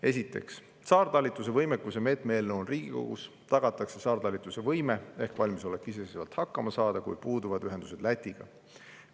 Esiteks, saartalitluse võimekuse meetme eelnõu on Riigikogus, tagatakse saartalitluse võime ehk valmisolek iseseisvalt hakkama saada, kui puuduvad ühendused Lätiga.